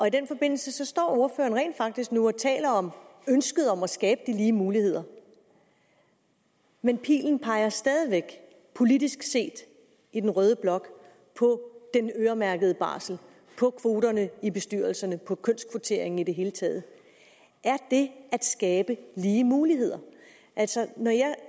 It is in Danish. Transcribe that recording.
i den forbindelse står ordføreren rent faktisk nu og taler om ønsket om at skabe lige muligheder men pilen peger stadig væk politisk set i den røde blok på den øremærkede barsel på kvoterne til bestyrelserne på kønskvotering i det hele taget er det at skabe lige muligheder altså når jeg